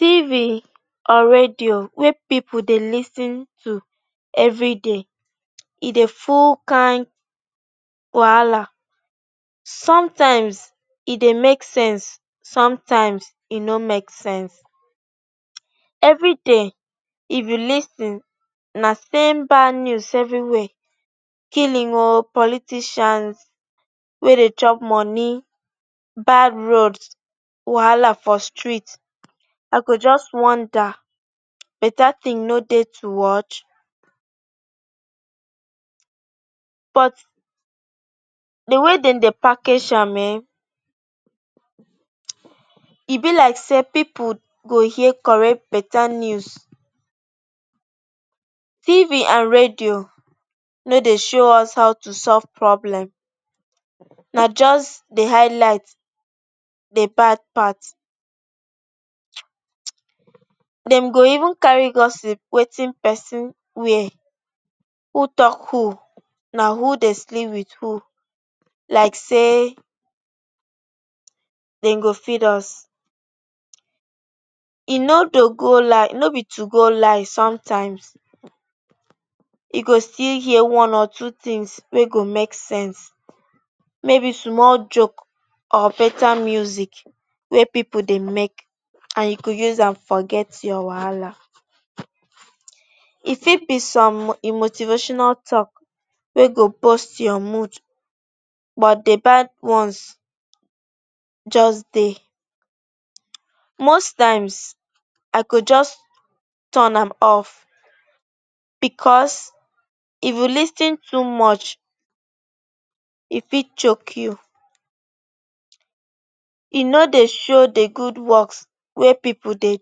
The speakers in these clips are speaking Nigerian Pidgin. Tv and radio wey people dey lis ten to everyday, e dey full kain wahala. Sometimes e dey make sense, sometimes e no make sense. Everyday if you lis ten, na same bad news evriwia. Killing oh, politicians wey dey chop money, bad road, wahala for street. I go just wonder, betta tin no dey to watch. But na di way dem dey package am ehn, e be like say people go hear correct. Betta news fit be on radio, no dey show us how to solve problem, na just di highlight dem dey bad pass. Dem go even carry gossip wetin pesin wear, who tok, who na who dey sleep wit who like say dem go feed us. E no do go line, no be to go lie. Sometimes you go still hear one or two tins wey go make sense maybe small joke or betta music wey pipu dey make — and you fit use am forget your wahala. E fit be some motivational tok wey go boost your mood. But di bad ones just dey. Most times, i go just turn am off, bicos if you lis ten too much, e fit choke you. E no dey show di good woks wey pipu dey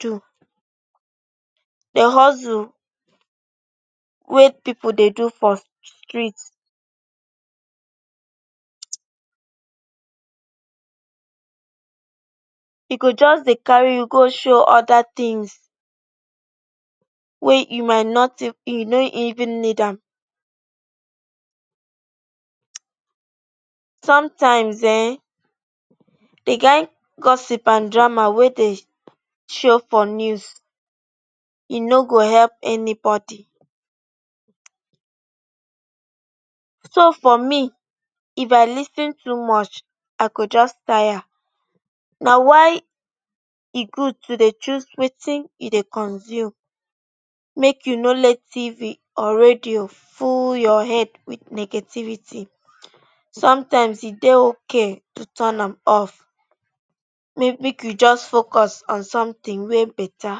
do, di hustle wey people dey do for street. E go just dey carry you go show oda tins you no even need am. Sometimes ehn, di kain gossip and drama wey dey show for news, e no go help anybody. So for me, if i lis ten too much, i go just tire. Na why e good to dey choose wetin you dey consume. Make you no let tv or radio full your head wit negativity. Sometimes e dey ok to turn am off, make you just focus on somtin wey betta.